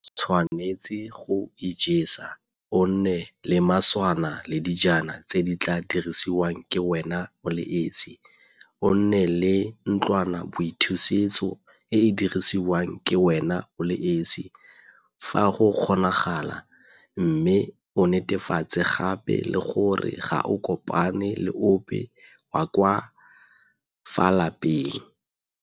O tshwanetse go ijesa, o nne le maswana le dijana tse di tla dirisiwang ke wena o le esi, o nne le ntlwanaboithusetso e e dirisiwang ke wena o le esi, fa go kgonagala, mme o netefatse gape le gore ga o kopane le ope wa ka fa lapeng.